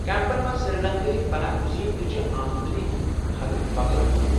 Campaign مَنٛز سری لنکا ہٕکۍ پناہ گزین تہ چھ آمدنی ہنٛز حد بغٲر اہل۔